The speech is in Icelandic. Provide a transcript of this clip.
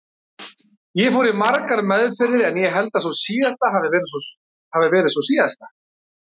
Ég fór í margar meðferðir en ég held að sú síðasta hafi verið sú síðasta.